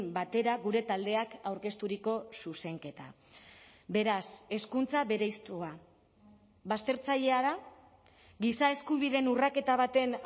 batera gure taldeak aurkezturiko zuzenketa beraz hezkuntza bereiztua baztertzailea da giza eskubideen urraketa baten